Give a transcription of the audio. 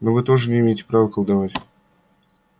но вы тоже не имеете права колдовать